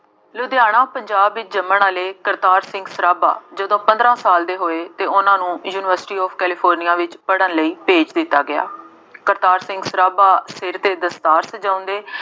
ਲੁਧਿਆਣਾ ਪੰਜਾਬ ਵਿੱਚ ਜੰਮਣ ਵਾਲੇ ਕਰਤਾਰ ਸਿੰਘ ਸਰਾਭਾ ਜਦੋਂ ਪੰਦਰਾਂ ਸਾਲ ਦੇ ਹੋਏ ਅਤੇ ਉਹਨਾ ਨੂੰ ਯੂਨੀਵਰਸਿਟੀ ਆਫ ਕੈਲੀਫੋਰਨੀਆ ਵਿੱਚ ਪੜ੍ਹਨ ਲਈ ਭੇਜ ਦਿੱਤਾ ਗਿਆ। ਕਰਤਾਰ ਸਿੰਘ ਸਰਾਭਾ ਸਿਰ ਤੇ ਦਸਤਾਰ ਸਜਾਉਂਦੇ